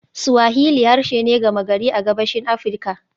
Swahili harshe ne gama gari a Gabashin Afirka.